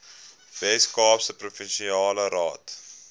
weskaapse provinsiale raad